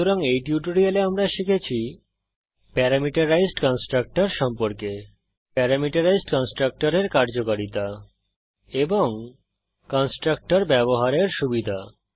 সুতরাং এই টিউটোরিয়ালে আমরা শিখেছি প্যারামিটারাইজড কন্সট্রকটর সম্পর্কে প্যারামিটারাইজড কন্সট্রকটরের কার্যকারিতা এবং কন্সট্রকটর ব্যবহারের সুবিধা